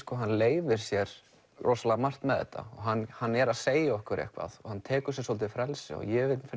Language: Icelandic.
leyfir sér rosalega margt með þetta hann hann er að segja okkur eitthvað hann tekur sér svolítið frelsi ég vil